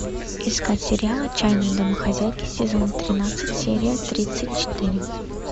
искать сериал отчаянные домохозяйки сезон тринадцать серия тридцать четыре